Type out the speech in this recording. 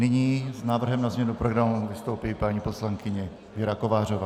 Nyní s návrhem na změnu programu vystoupí paní poslankyně Věra Kovářová.